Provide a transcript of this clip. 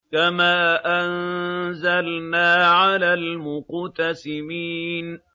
كَمَا أَنزَلْنَا عَلَى الْمُقْتَسِمِينَ